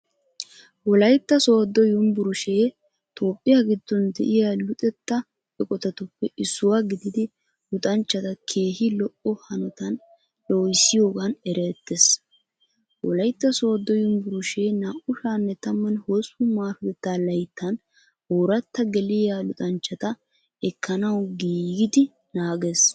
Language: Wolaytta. Wolaytta sooddo yunbburshee Toophphiyaa giddon de'iyaa luxetta eqotatuppe issuwaa gididi luxanchchata keehi lo'o hanotan loohissiyoogaan erettees. Wolaytta sooddo yunbburshee 2018ML ooratta geliyaa luxanchchata ekkanawu giigidi naagees.